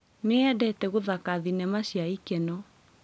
Nĩendete gũthaka thinema cia ikeno